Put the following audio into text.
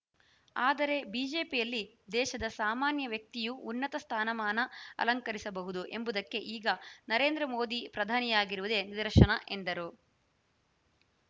ಆದರೆ ಬಿಜೆಪಿಯಲ್ಲಿ ದೇಶದ ಸಾಮಾನ್ಯ ವ್ಯಕ್ತಿಯೂ ಉನ್ನತ ಸ್ಥಾನಮಾನ ಅಲಂಕರಿಸಬಹುದು ಎಂಬುದಕ್ಕೆ ಈಗ ನರೇಂದ್ರ ಮೋದಿ ಪ್ರಧಾನಿಯಾಗಿರುವುದೇ ನಿದರ್ಶನ ಎಂದರು